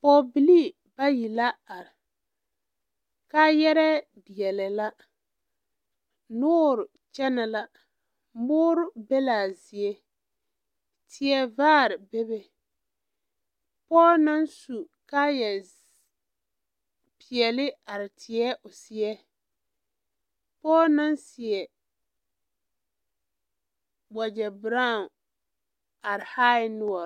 Pɔɡebilii bayi la are kaayɛrɛɛ deɛlɛɛ la noore kyɛnɛ la moore be la a zie teɛvaar bebe pɔɔ na su kaayɛpeɛle are teɛ o seɛ pɔɔ na seɛ waɡyɛberaao are hææɛ noɔr.